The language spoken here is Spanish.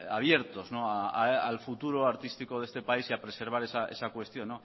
abiertos al futuro artístico de este país y a preservar esa cuestión